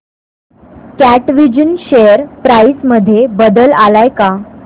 कॅटविजन share price मध्ये बदल आलाय का